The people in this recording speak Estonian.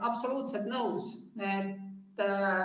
Absoluutselt nõus.